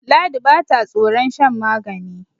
ladi ba ta tsoron shan magani